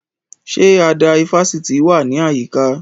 Ṣé àdá ifásitì wà ní àyíká?